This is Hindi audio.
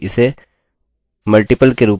एक नए वेरिएबल के रूप में